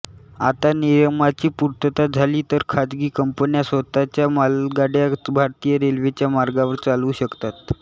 आता नियमांची पूर्तता झाली तर खाजगी कंपन्या स्वतःच्या मालगाड्या भारतीय रेल्वेच्या मार्गांवर चालवू शकतात